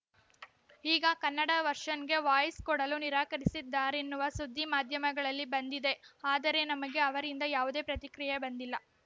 ಈಗ ಕನ್ನಡ ವರ್ಷನ್‌ಗೆ ವಾಯ್ಸ್ ಕೊಡಲು ನಿರಾಕರಿಸಿದ್ದಾರೆನ್ನುವ ಸುದ್ದಿ ಮಾಧ್ಯಮಗಳಲ್ಲಿ ಬಂದಿದೆ ಆದರೆ ನಮಗೆ ಅವರಿಂದ ಯಾವುದೇ ಪ್ರತಿಕ್ರಿಯೆ ಬಂದಿಲ್ಲ